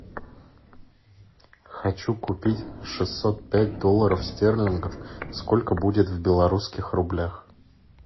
хочу купить шестьсот пять долларов стерлингов сколько будет в белорусских рублях